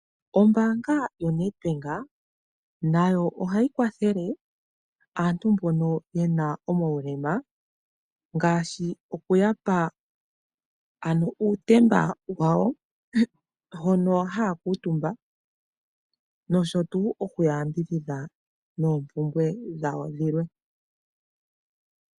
Ombaanga yoNedbank nayo ohayi kwathele aantu mbono ye na omaulema ngaashi okuya pa ano uutemba wawo hono haya kuutumba nosho tuu okuya yambidhidha noompumbwe dhawo dhilwe.